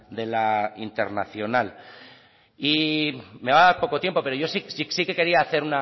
de la internacional y me va a dar poco tiempo pero yo sí que quería hacer